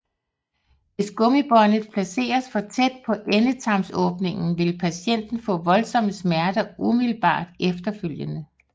Hvis gummibåndet placeres for tæt på endetarmsåbningen vil patienten få voldsomme smerter umiddelbart efterfølgende